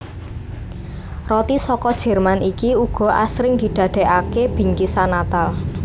Roti saka Jerman iki uga asring didadèkaké bingkisan Natal